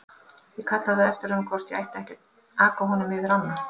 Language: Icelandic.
Ég kallaði á eftir honum hvort ég ætti ekki að aka honum yfir ána.